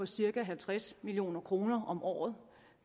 cirka halvtreds million kroner om året